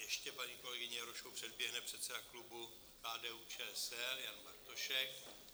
Ještě paní kolegyni Jarošovou předběhne předseda klubu KDU-ČSL Jan Bartošek.